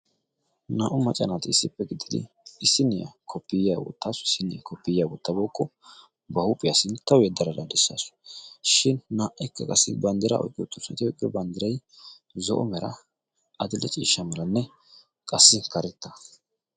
Naa"u macanaati issippe giddidi issiniyaa koppiyiya wottaasu issiniyaa koppiyiya wottabookko ba huuphiyaa sinttawu yedadaa dichaasu shin naa"ikka qassi banddira oyqqi ottoosnati oqir banddirai zo'o mera adil"e ciishsha melanne qassi karetta.